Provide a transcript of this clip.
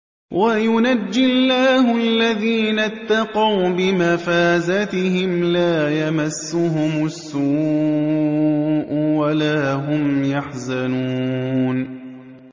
وَيُنَجِّي اللَّهُ الَّذِينَ اتَّقَوْا بِمَفَازَتِهِمْ لَا يَمَسُّهُمُ السُّوءُ وَلَا هُمْ يَحْزَنُونَ